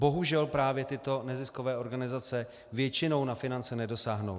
Bohužel právě tyto neziskové organizace většinou na finance nedosáhnou.